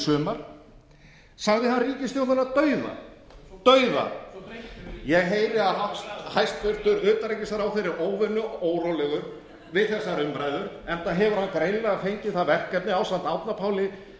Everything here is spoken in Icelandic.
sumar sagði hann ríkisstjórnina dauð ég heyri að hæstvirtur utanríkisráðherra er óvenju órólegur við þessar umræður enda hefur hann greinilega fengið það verkefni ásamt árna páli